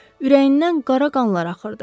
Ürəyindən qara qanlar axırdı.